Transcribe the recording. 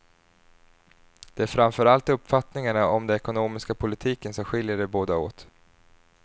Det är framför allt uppfattningarna om den ekonomiska politiken som skiljer de båda åt.